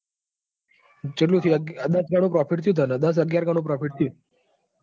ચેટલું થયું. ખબર હ દાસ અગિયાર ગણું profit થયું.